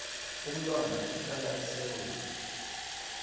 umntwana uhlala esewula